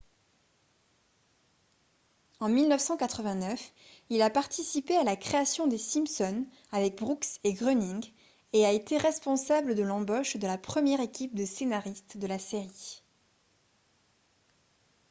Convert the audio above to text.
en 1989 il a participé à la création des simpsons avec brooks et groening et a été responsable de l'embauche de la première équipe de scénaristes de la série